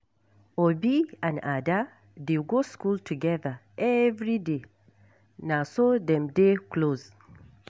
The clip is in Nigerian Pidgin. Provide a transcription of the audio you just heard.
Obi and Ada dey go school together everyday, na so dem dey close.